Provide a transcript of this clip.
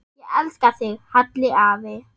Ég elska þig, Halli afi.